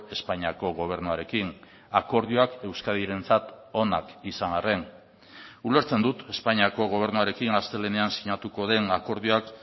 espainiako gobernuarekin akordioak euskadirentzat onak izan arren ulertzen dut espainiako gobernuarekin astelehenean sinatuko den akordioak